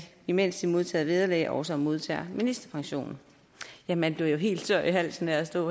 imens de modtager vederlag også modtager ministerpension ja man bliver jo helt tør i halsen af at stå